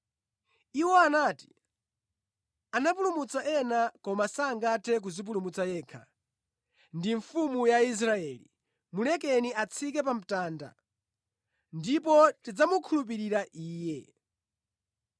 Iwo anati, “Anapulumutsa ena koma sangathe kudzipulumutsa yekha! Ndi mfumu ya Israeli! Mulekeni atsike pa mtanda ndipo tidzamukhulupirira Iye.